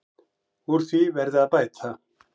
Úr því verði að bæta.